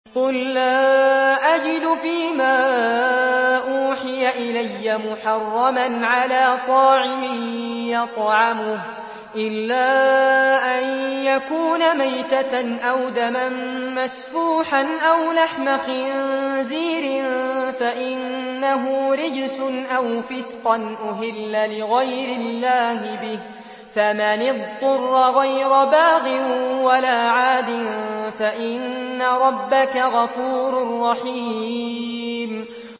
قُل لَّا أَجِدُ فِي مَا أُوحِيَ إِلَيَّ مُحَرَّمًا عَلَىٰ طَاعِمٍ يَطْعَمُهُ إِلَّا أَن يَكُونَ مَيْتَةً أَوْ دَمًا مَّسْفُوحًا أَوْ لَحْمَ خِنزِيرٍ فَإِنَّهُ رِجْسٌ أَوْ فِسْقًا أُهِلَّ لِغَيْرِ اللَّهِ بِهِ ۚ فَمَنِ اضْطُرَّ غَيْرَ بَاغٍ وَلَا عَادٍ فَإِنَّ رَبَّكَ غَفُورٌ رَّحِيمٌ